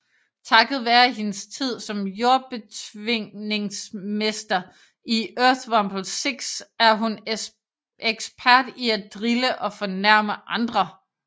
Takket være hendes tid som Jordbetvingningsmester i Earthrumble 6 er hun ekspert i at drille og fornærme andre